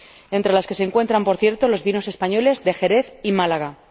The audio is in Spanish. entre las que se encuentran, por cierto, los vinos españoles de Jerez y Málaga.